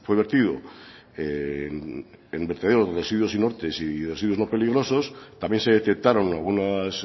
vertido en vertederos de residuos inertes y residuos no peligrosos también se detectaron algunas